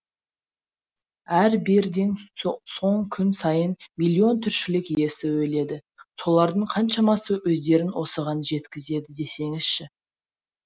әрі беріден соң күн сайын миллион тіршілік иесі өледі солардың қаншамасы өздерін осыған жеткізеді десеңізші